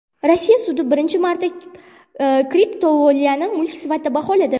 Rossiya sudi birinchi marta kriptovalyutani mulk sifatida baholadi.